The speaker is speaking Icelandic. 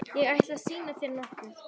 Ég ætla að sýna þér nokkuð.